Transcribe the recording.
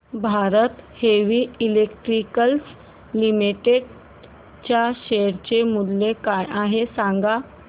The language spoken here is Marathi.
भारत हेवी इलेक्ट्रिकल्स लिमिटेड च्या शेअर चे मूल्य काय आहे सांगा